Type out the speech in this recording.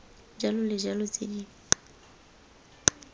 jalo le jalo tse di